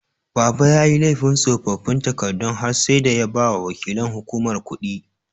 Baba yayi laifin tsofaffin takardu har sai da ya bawa waƙilan hukumar kuɗi.